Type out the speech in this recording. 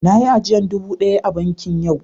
Na yi ajiyan dubu daya a banki yau.